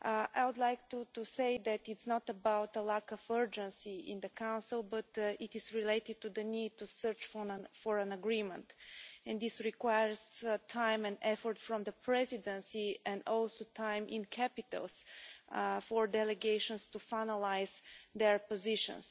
I would like to say that it's not about a lack of urgency in the Council, but it is related to the need to search for an agreement, and this requires time and effort from the Presidency and also time in capitals for delegations to finalise their positions.